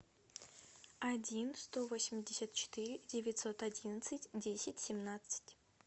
один сто восемьдесят четыре девятьсот одиннадцать десять семнадцать